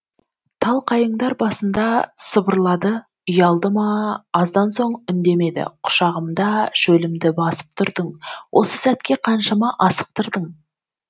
тал қайыңдар басында сыбырлады ұялды ма аздан соң үндемеді құшағымда шөлімді басып тұрдың осы сәтке қаншама асықтырдың